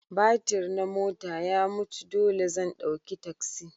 Batir na mota ya mutu dole zan ɗauki taksi.